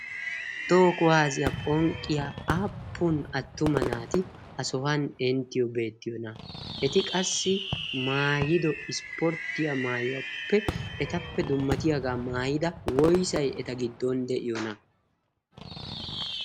Toho kuwaasiyaa phonqqiya aappun attuma naati ha sohuwan inttiyoo beettiyoona? Eti qassi maayido ispporttiya maayuwaappe etappe dummatiyaagaa maayida woysay eta giddon de'iyoona?